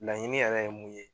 Laɲini yɛrɛ ye mun ye